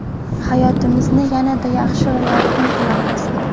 Hayotimizni yanada yaxshi va yorqin qilamiz!